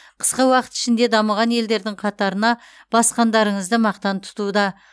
қысқа уақыт ішінде дамыған елдердің қатарына басқандарыңызды мақтан тұтуда